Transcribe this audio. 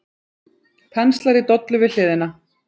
Penslar í dollu við hliðina.